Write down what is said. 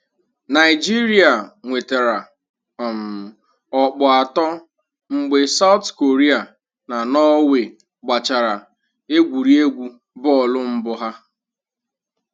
Naijiria nwetara um ọkpụ atọ mgbe Saụt Koria na Norway gbachara egwuregwu bọọlụ mbụ ha